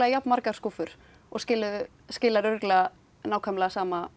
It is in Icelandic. jafn margar skúffur og skilar skilar örugglega nákvæmlega sama